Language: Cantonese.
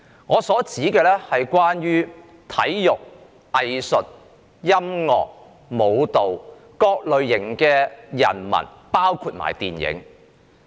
我指的是體育、藝術、音樂、舞蹈及電影等人文行業的從業員。